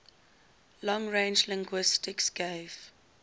long range linguistics gave